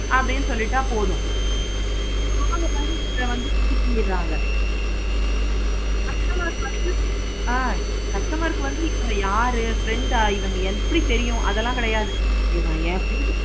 அப்படின்னு சொல்லிட்டா போதும். customers first ஆஹ் customer க்கு வந்து இவங்க யாரு? ஆயுதம் எப்படி தெரியும் அப்படிலாம் கிடையாது.